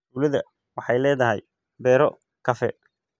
Tuulada waxay leedahay beero kafee.